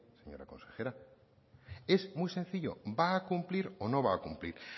señora consejera es muy sencillo va a cumplir o no va a cumplir